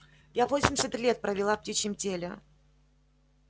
я восемьдесят лет провела в птичьем теле